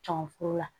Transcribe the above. Cɔn furu la